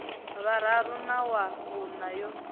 vhuraru na wa vhuṋa yo